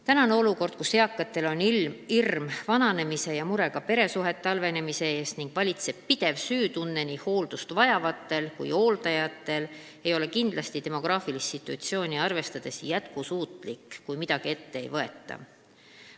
Tänane olukord, kus eakatel on hirm vananemise ees ja mure ka peresuhete halvenemise pärast ning nii hooldust vajavatel kui ka hooldajatel on pidev süütunne, ei ole demograafilist situatsiooni arvestades kindlasti jätkusuutlik, kui midagi ette ei võeta.